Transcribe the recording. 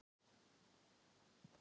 Honum er auðheyrilega mikið niðri fyrir.